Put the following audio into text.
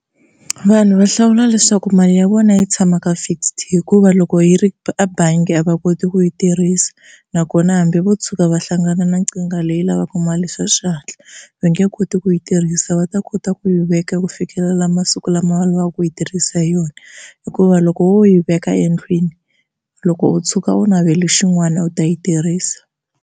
Vanhu va hlawula leswaku mali ya vona yi tshama ka fixed hikuva loko yi ri a bangi a va koti ku yi tirhisa nakona hambi vo tshuka va hlangana na leyi lavaka mali swa xihatla va nga nge koti ku yi tirhisa va ta kota ku yi veka ku fikelela masiku lama va lavaka ku yi tirhisa hi yona, hikuva loko wo yi veka endlwini loko u tshuka u navele xin'wana u ta yi tirhisa.